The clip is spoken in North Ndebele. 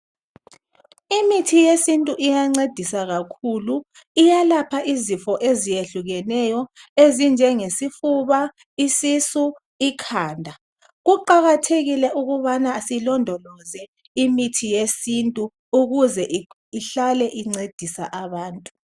imithi yesintu iyancedisa kakhulu iyalapha izifo eziyehlukeneyo ezinjengesifuba isisu ikhanda kuqakathekile ukubana silondoloze imithi yesintu ukuze ihlale incedisa abantu